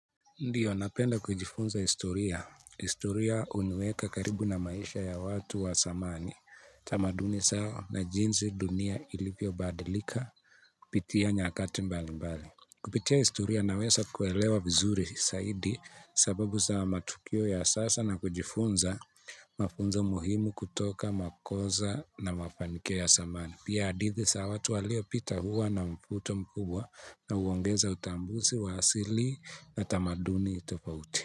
Ndiyo napenda kujifunza historia, historia huniweka karibu na maisha ya watu wa zamani, tamaduni zao na jinsi dunia ilivyo badilika, kupitia nyakati mbali mbali. Kupitia historia naweza kuelewa vizuri zaidi sababu za matukio ya sasa na kujifunza mafunzo muhimu kutoka makosa na mafanikio ya zamani. Pia hadithi za watu walio pita huwa na mvuto mkubwa na huongeza utambuzi wa asili na tamaduni tofauti.